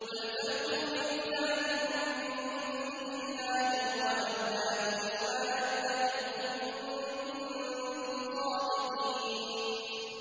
قُلْ فَأْتُوا بِكِتَابٍ مِّنْ عِندِ اللَّهِ هُوَ أَهْدَىٰ مِنْهُمَا أَتَّبِعْهُ إِن كُنتُمْ صَادِقِينَ